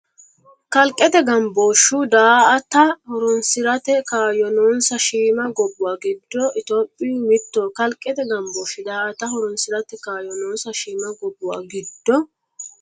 Kalqete gambooshshu daa”ata horoonsi’rate kayo noonsa shiima gobbuwa giddo Itophiyu mittoho Kalqete gambooshshu daa”ata horoonsi’rate kayo noonsa shiima gobbuwa giddo.